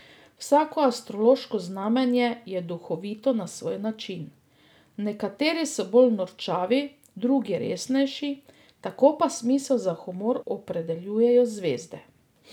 Vsako astrološko znamenje je duhovito na svoj način, nekateri so bolj norčavi, drugi resnejši, tako pa smisel za humor opredeljujejo zvezde.